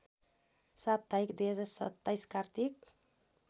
साप्ताहिक २०२७ कार्तिक